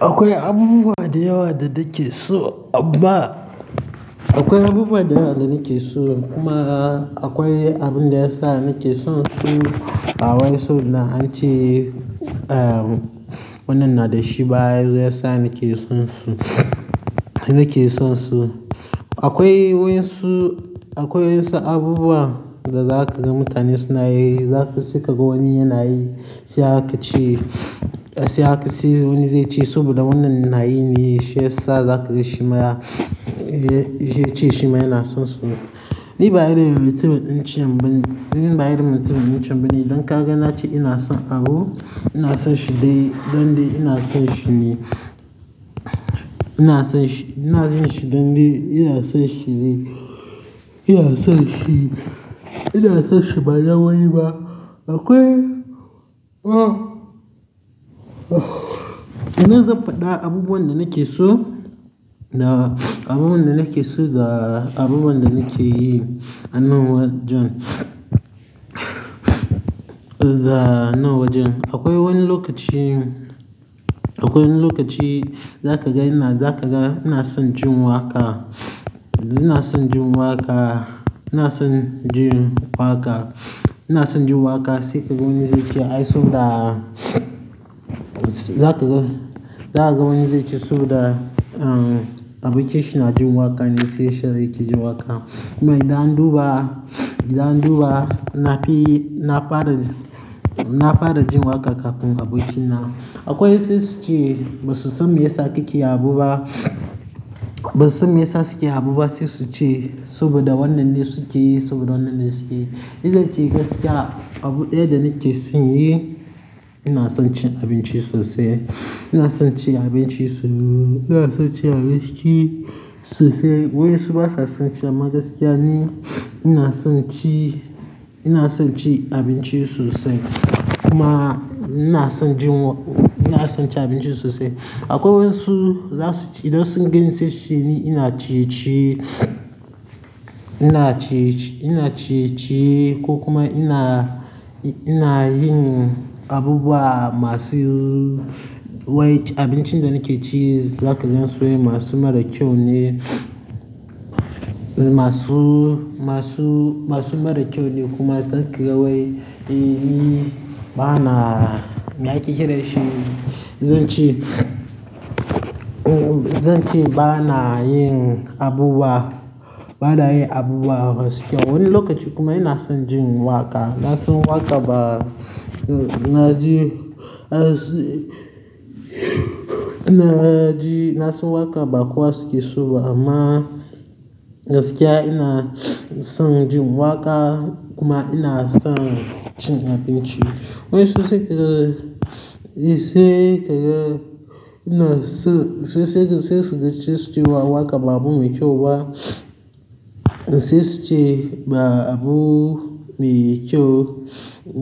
Akwai abubuwa da yawa da nake so amma akwai abubuwa da yawa da nake so kuma akwai abin da yasa nake son su. Akwai so na an ce, eh, wannan na da shi baya, ya sa nake sonsu, nake sonsu. Akwai wasu, akwai wasu abubuwa da za ka ga mutane suna yi, za ka saka ga wani yana yi, sai aka ce, sai aka siyo wani zai ce saboda wannan yana yi ne shiyasa za ka ga shi ma ya, ya ce shi ma yana sonsu. Ni baya rera mitin in ce ban, ni baya rera mitin in ce ban yi, don ka ga na ce ina son abu, ina son shi dai dande ina son shi ne. Ina son shi, ina son shi dande, ina son shi ne, ina son shi, ina son shi ba launi ba. Akwai, ah, ina zan faɗa abubuwan da nake so da abubuwan da nake so da abubuwan da nake yi a nan wajen, da nan wajen. Akwai wani lokaci, akwai wani lokaci za ka ga ina, za ka ga ina son jin waƙa, ina son jin waƙa, ina son jin waƙa, ina son jin waƙa sai ka ga wani zai ce ai so da, za ka ga, za ka ga wani zai ci so da, um, abokinshi na jin waƙa ne sai shi yaje yake jin waƙa. Kuma idan duba, idan duba na fi, na fara, na fara jin waƙa kafin abokina. Akwai wasu su ce ba su son me yasa kike yi abubuwa, ba su son me yasa suke yi abubuwa sai su ce saboda wannan ne suke yi, saboda wannan ne suke yi. Ni zan ce gaskiya, abu ɗaya da nake son yi, ina son cin abinci sosai. Ina son cin abinci sosai, ina son cin abinci sosai. Wasu ba sa son cin shi a gaskiya ne, ina son ci, ina son cin abinci sosai. Kuma ina son jin waƙa, ina son cin abinci sosai. Akwai wasu za su ci, idan sun ganshi su ce ni ina ciye-ciye, ina ciye-ciye ko kuma ina, ina yin abubuwa masu, wai abincin da nake ci za ka gan su ne masu mara kyau ne. Masu, masu, masu mara kyau ne kuma za ka ga wai, eh, ba na, na ƙi kirashi. Zan ce, zan ce ba na yin abubuwa, ba na yin abubuwa gaskiya. Wani lokaci kuma ina son jin waƙa, ina son waƙa ba, na ji, na ji, na san waƙa ba kwas ke so ba amma gaskiya ina son jin waƙa kuma ina son cin abinci. Wasu sai ka ga, sai ka ga, ina so, wasu sai su ce su ci wa waƙa ba abu mai kyau ba. Sai su ce ba abu mai kyau,